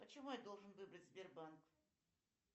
почему я должен выбрать сбербанк